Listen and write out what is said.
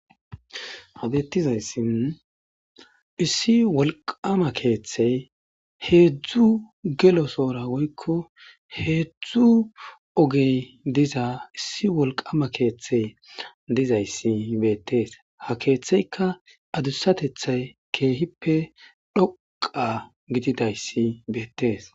Ha beettizayssin issi wolqama keeththey heedzdzu gelo soora woykko heedzdzu ogey diza issi wolqama keeththey dizayssi beettees ha keeththeyka adussatethay keehippe dhoqa gididayssi beettees.